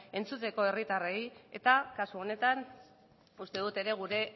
entzuteko herritarrei eta kasu honetan uste dut ere gure